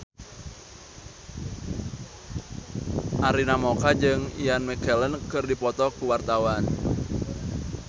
Arina Mocca jeung Ian McKellen keur dipoto ku wartawan